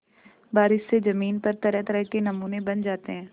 बारिश से ज़मीन पर तरहतरह के नमूने बन जाते हैं